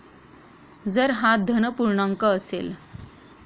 जर हा धन पूर्णांक असेल